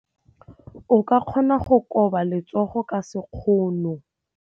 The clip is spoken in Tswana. O ka kgona go koba letsogo ka sekgono.